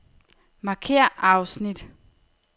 Markér afsnit.